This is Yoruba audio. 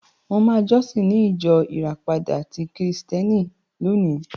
Mo máa jọ́sìn ní ìjọ Ìràpada ti Kírísíìtì lónìí.